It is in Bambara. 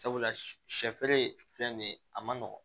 Sabula sɛ feere filɛ nin ye a ma nɔgɔn